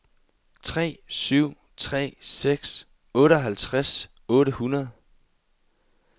tre syv tre seks otteoghalvtreds otte hundrede